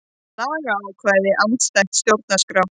Lagaákvæði andstætt stjórnarskrá